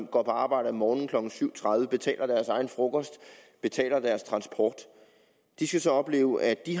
går på arbejde om morgenen klokken syv tredive betaler deres egen frokost betaler deres transport de skal så opleve at de